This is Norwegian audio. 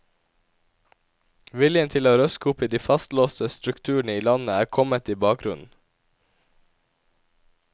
Viljen til å røske opp i de fastlåste strukturene i landet er kommet i bakgrunnen.